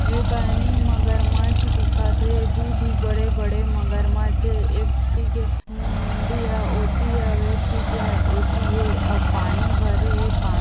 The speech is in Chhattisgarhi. एकनि मगरमच्छ दिखत ए दु ठी बड़े - बड़े मगरमच्छ हे एक ठी के मुंडी हा ओती हवय एक ठी के हा एति हे अउ पानी भरे हे पा --